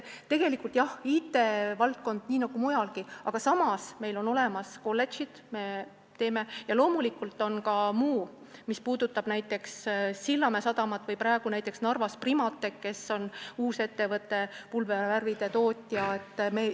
Tegelikult jah, IT-valdkond on probleem, nii nagu mujalgi, aga samas on meil olemas kolledžid ja loomulikult on ka muu, mis puudutab näiteks Sillamäe sadamat või Narva Primateki, mis on uus ettevõte, pulbervärvide tootja.